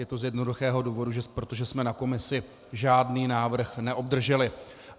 Je to z jednoduchého důvodu - protože jsme na komisi žádný návrh neobdrželi.